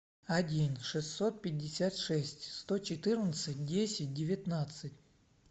один шестьсот пятьдесят шесть сто четырнадцать десять девятнадцать